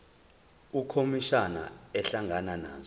ukhomishana ehlangana nazo